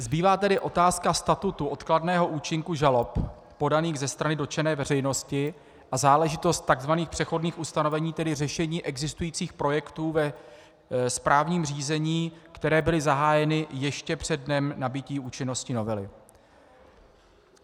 Zbývá tedy otázka statutu odkladného účinku žalob podaných ze strany dotčené veřejnosti a záležitost takzvaných přechodných ustanovení, tedy řešení existujících projektů ve správním řízení, které byly zahájeny ještě přede dnem nabytí účinnosti novely.